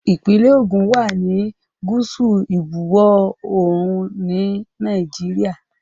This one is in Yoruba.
Ìpínlẹ̀ Ògùn wá ní gúúsù ìbuwọ̀ oòrùn ni ilẹ̀ Nàìjíríà